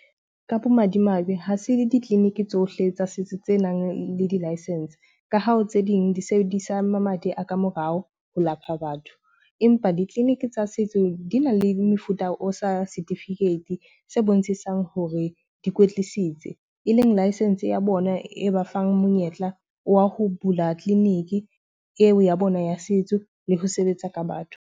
Ka bomadimabe, ha se ditleliniki tsohle tsa setso tsenang le di-license. Ka ha ho tse ding di sebedisa mamati a ka morao ho lapha batho. Empa ditleliniki tsa setso di na le mefuta o sa setifikeiti se bontshisang hore di kwetlisitse. E leng license ya bona e ba fang monyetla wa ho bula tleliniki eo ya bona ya setso le ho sebetsa ka batho.